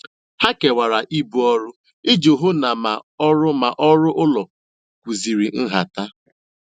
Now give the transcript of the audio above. Ha kewara ibu ọrụ iji hụ na ma ọrụ ma ọrụ ụlọ kwụziri nhata.